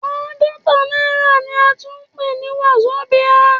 Àádọ́ta náírà ni a tún ń pè ní Wazobia.